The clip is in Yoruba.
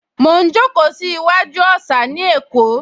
Mo ń jókòó sí iwájú òsà ní Èkó